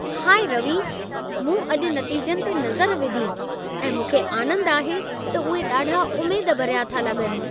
High Ravi, मूं अॼि नतीजनि ते नज़र विधी ऐं मूंखे आनंद आहे त उहे ॾाढा उमेद भरिया था लॻनि।